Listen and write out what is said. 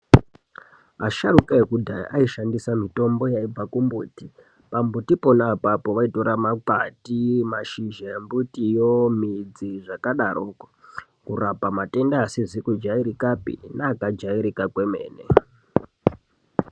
Asharuka ekudhaya aishandisa mitombo yaibva kumbuti, pambuti pona apapo vaitora makwati, mashizha embitiyo, midzi, zvakadaroko, kurapa matenda asizi kujaerekapi neakajaereka kwemene.